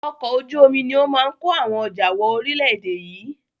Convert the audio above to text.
Ọkọ̀ ojú omi ni ó máa ń ko àwọn ọjà wọ ori ilẹ̀ èdè yìí